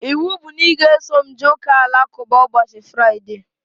Ịwụ bụ na ị ga-eso m jee ụka alakụba ụbọchị Fraịdee!